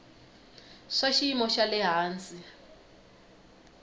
swa xiyimo xa le hansi